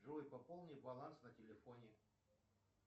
джой пополни баланс на телефоне